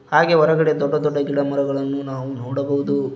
ಹಾಗೆ ಹೊರಗಡೆ ದೊಡ್ಡ ದೊಡ್ಡ ಗಿಡ ಮರಗಳನ್ನು ನಾವು ನೋಡಬಹುದು.